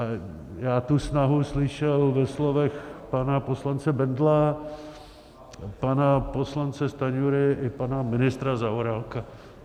A já tu snahu slyšel ve slovech pana poslance Bendla, pana poslance Stanjury i pana ministra Zaorálka.